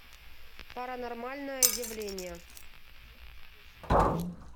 паранормальное явление